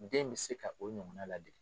Den bɛ se ka o ɲɔgɔn na ladege.